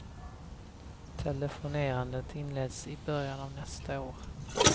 Telefonerandet inleds i början av nästa år.